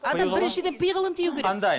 адам біріншіден пиғылын тыю керек қандай